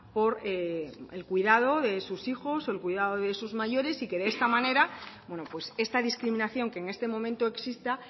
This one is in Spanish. por el cuidado de sus hijos o el cuidado de sus mayores y que de esta manera esta discriminación que en este momento exista